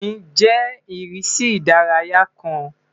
Nrin jẹ irisi idaraya kan